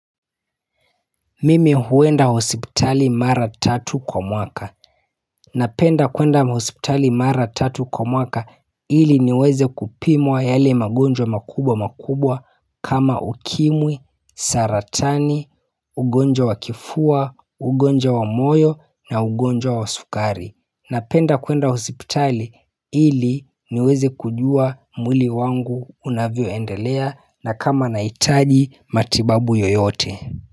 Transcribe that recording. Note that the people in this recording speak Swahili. Mimi huenda hospitali mara tatu kwa mwaka Napenda kuenda hospitali mara tatu kwa mwaka ili niweze kupimwa yale magonjwa makubwa makubwa kama ukimwi, saratani, ugonjwa wa kifua, ugonjwa wa moyo na ugonjwa wa sukari Napenda kuenda hosipitali ili niweze kujua mwili wangu unavyoendelea na kama nahitaji matibabu yoyote.